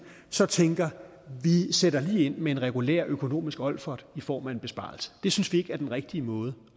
så tænker vi sætter lige ind med en regulær økonomisk olfert i form af en besparelse det synes vi ikke er den rigtige måde